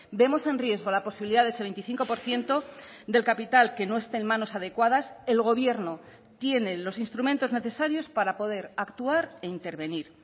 vemos en riesgo la posibilidad de ese veinticinco por ciento del capital que no esté en manos adecuadas el gobierno tiene los instrumentos necesarios para poder actuar e intervenir